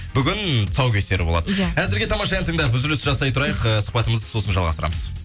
бүгін тұсаукесер болады иә әзірге тамаша ән тыңдап үзіліс жасай тұрайық ыыы сұхбатымызды сосын жалғастырамыз